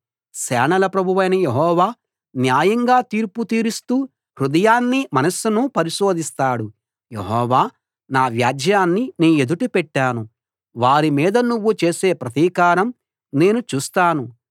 సేనల ప్రభువైన యెహోవా న్యాయంగా తీర్పు తీరుస్తూ హృదయాన్నీ మనస్సునూ పరిశోధిస్తాడు యెహోవా నా వ్యాజ్యాన్ని నీ ఎదుట పెట్టాను వారి మీద నువ్వు చేసే ప్రతీకారం నేను చూస్తాను